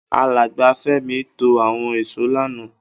Alàgbà Fẹ́mi to àwon ìsó lánàá